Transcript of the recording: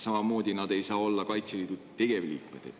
Samamoodi ei saa nad olla Kaitseliidu tegevliikmed.